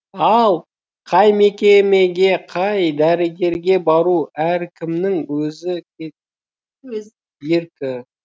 ал қай мекемеге қай дәрігерге бару әркімнің өз еркі